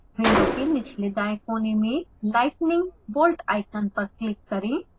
window के निचले दायें कोने में lightning bolt आइकन पर क्लिक करें